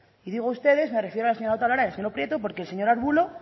y digo ustedes me refiero a la señora otalora y al señor prieto porque el señor arbulo